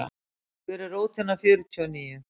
Hver er rótin af fjörtíu og níu?